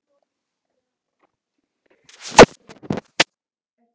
Edda fær sting í magann.